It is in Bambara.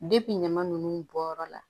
ɲama nunnu bɔyɔrɔ la